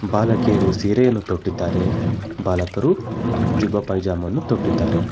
ಬಾಲಕಿಯರು ಸೀರೆಯನ್ನು ತೊಟ್ಟಿದ್ದಾರೆ ಬಾಲಕರು ಜುಬ್ಬಾ ಪೈಜಾಮ್ ಅನ್ನು ತೊಟ್ಟಿದ್ದಾರೆ.